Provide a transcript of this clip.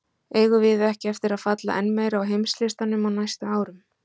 Eigum við ekki eftir að falla enn meira á heimslistanum á næstu árum??